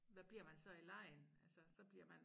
Hvad bliver man så i legen altså så bliver man